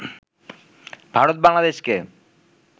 ভারত বাংলাদেশকে